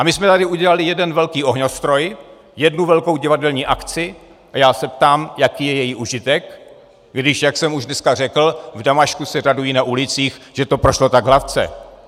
A my jsme tady udělali jeden velký ohňostroj, jednu velkou divadelní akci a já se ptám, jaký je její užitek, když jak jsem už dneska řekl, v Damašku se radují na ulicích, že to prošlo tak hladce.